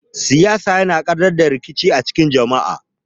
Siyasa yana gadar da rikici tsakanin jama'a.